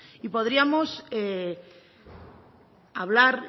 y podríamos hablar